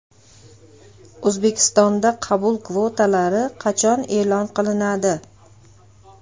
O‘zbekistonda qabul kvotalari qachon e’lon qilinadi?.